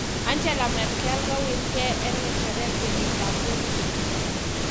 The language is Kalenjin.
Angela Merkel kowirkee en ng'echeret kenyiit ab 2021